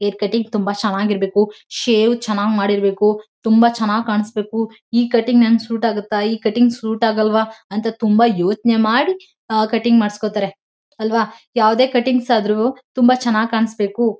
Hire cutting ತುಂಬಾ ಚೆನ್ನಾಗ್ ಇರ್ಬೇಕು ಶೇವ್ ಚೆನ್ನಾಗಿ ಮಾಡಿರ್ಬೇಕು ತುಂಬಾ ಚೆನ್ನಾಗ್ ಕಾಣ್ಸ್ಬೇಕು ಈ ಕಟ್ಟಿಂಗ್ ನಂಗ್ ಸೂಟ್ ಆಗುತ್ತಾ ಈ ಕಟ್ಟಿಂಗ್ ಸೂಟ್ ಆಗಲ್ವಾ ಅಂತ ತುಂಬಾ ಯೋಚ್ನೆ ಮಾಡಿ ಆಹ್ಹ್ ಕಟ್ಟಿಂಗ್ ಮಾಡ್ಸ್ಕೊತಾರೆ ಅಲ್ವಾ ಯಾವದೇ ಕಟ್ಟಿಂಗ್ಸ್ ಆದ್ರೂ ತುಂಬಾ ಚೆನ್ನಾಗ್ ಕಾಣ್ಸ್ಬೇಕು.